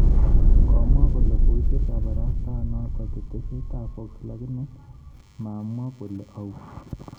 Komwa kole koicher kabarastaenoto ketesyetab Fox lakini mamwo kole au